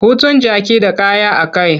Hutun jaki da kaya a ka.